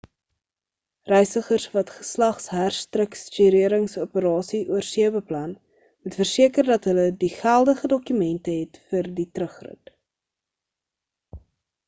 reisigers wat geslagsherstrukturerings operasies oorsee beplan moet verseker dat hulle die geldige dokumente het vir die terugrit